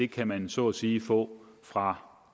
kan man så at sige få fra